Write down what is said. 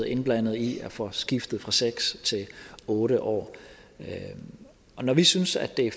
indblandet i at få skiftet fra seks til otte år når vi synes at det